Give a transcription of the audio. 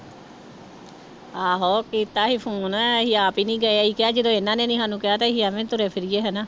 ਆਹੋ ਕੀਤਾ ਸੀ ਫ਼ੋਨ ਅਸੀਂ ਆਪ ਹੀ ਨੀ ਗਏ ਅਸੀਂ ਕਿਹਾ ਜਦੋਂ ਇਹਨਾਂ ਨੇ ਨੀ ਸਾਨੂੰ ਕਿਹਾ ਤੇ ਅਸੀਂ ਐਵੇਂ ਤੁਰੇ ਫਿਰੀਏ ਹਨਾ।